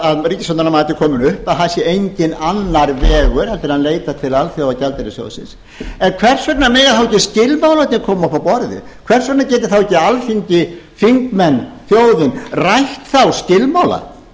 að ríkisstjórnarinnar mati komin upp að það sé enginn annar vegur en að leita til alþjóðagjaldeyrissjóðsins en hvers vegna mega þá ekki skilmálarnir koma upp á borðið hvers vegna getur þá ekki alþingi þingmenn þjóðin rætt þá skilmála